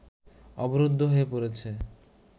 অবরুদ্ধ হয়ে পড়েছে